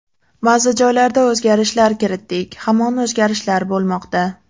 Ba’zi joylarda o‘zgarishlar kiritdik, hamon o‘zgarishlar bo‘lmoqda.